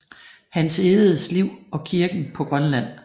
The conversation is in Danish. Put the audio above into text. Hans Egedes liv og kirken på Grønland